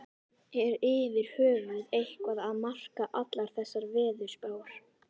Er yfir höfuð eitthvað að marka allar þessar veðurspár?